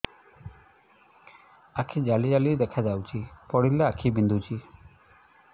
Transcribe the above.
ଆଖି ଜାଲି ଜାଲି ଦେଖାଯାଉଛି ପଢିଲେ ଆଖି ବିନ୍ଧୁଛି